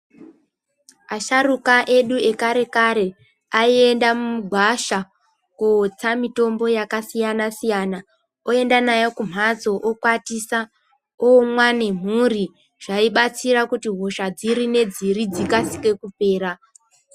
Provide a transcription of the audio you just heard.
Asharuka edu ekare kare aienda mugwasha kunotsa mitombo yakasiyana siyana oenda nayo kumhatso okwatisa omwa nemhuri zvaibatsira kuti hosha dziri nedziri dzikasire kupera.